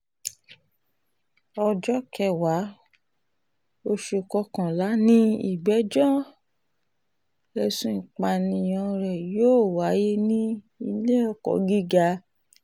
ọjọ́ kẹwàá oṣù kọkànlá ni ìgbẹ́jọ́ ẹ̀sùn ìpànìyàn rẹ̀ yóò wáyé ní ilé-ẹjọ́ gíga ìpínlẹ̀ ogun ẹ̀ka ti ipòkíà